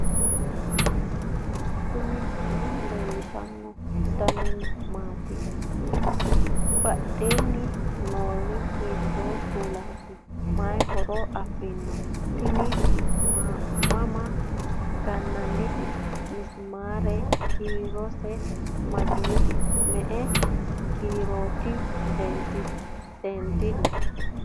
knuni maa leellishanno ? danano maati ? badheenni noori hiitto kuulaati ? mayi horo afirino ? tini mamma gannannite misimaare kiirose mageete me'e kiirooti seendille